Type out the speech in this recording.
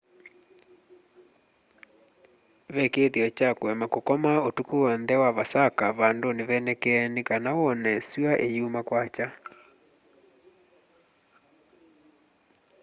ve kĩĩthĩo kya kũema kukoma ũtukũ wonthe wa vasaka vandũnĩ venekee nĩ kana wone syũa ĩyuma kwakya